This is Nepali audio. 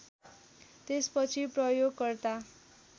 त्यसपछि प्रयोगकर्ता